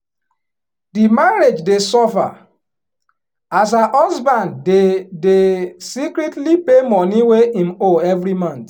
di marriage dey suffer as her husband dey dey secretly pay money wey him owe every month